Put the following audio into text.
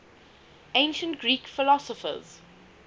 ancient greek philosophers